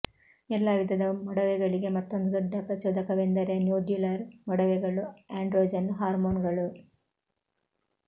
ಎಲ್ಲಾ ವಿಧದ ಮೊಡವೆಗಳಿಗೆ ಮತ್ತೊಂದು ದೊಡ್ಡ ಪ್ರಚೋದಕವೆಂದರೆ ನೋಡ್ಯುಲರ್ ಮೊಡವೆಗಳು ಆಂಡ್ರೊಜನ್ ಹಾರ್ಮೋನ್ಗಳು